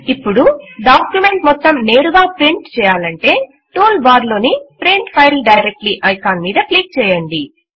ఇప్పుడు డాక్యుమెంట్ మొత్తం నేరుగా ప్రింట్ చేయాలంటే టూల్ బార్ లోని ప్రింట్ ఫైల్ డైరెక్ట్లీ ఐకాన్ మీద క్లిక్ చేయండి